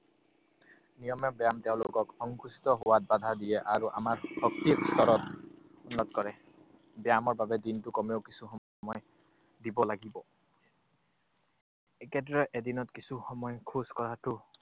নিয়মীয়া ব্যায়াম তেওঁলোকক সংকুচিত হোৱাত বাধা দিয়ে আৰু আমাৰ শক্তি ভিতৰত উন্নত কৰে। ব্যায়ামৰ বাবে দিনটোত কমেও কিছুসময় দিব লাগিব। একেদৰে এদিনত কিছু সময় খোজ কঢ়াটো